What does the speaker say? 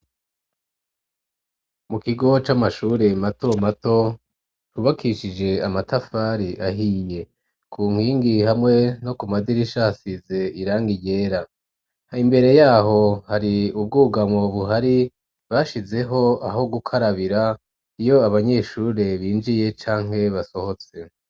Mu kigo c'amashure mato mato ryubakishije amatafari ahiye ku nkingi hamwe no ku madirisha hasize irangi ryera hambere yaho hari ubwugamo buhari bashizeho aho gukarabira iyo abanyeshure binjiye canke basohotse.